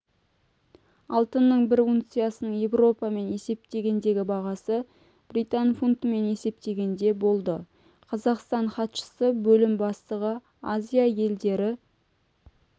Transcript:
алтынның бір унциясының еуромен есептегендегі бағасы британ фунтымен есептегенде болды қазақстан хатшысы бөлім бастығы азия елдері